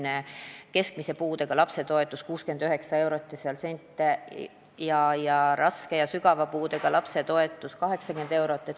Praegu on keskmise puudega lapse toetus 69 eurot sentidega ning raske ja sügava puudega lapse toetus 80 eurot.